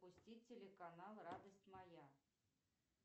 пусти телеканал радость моя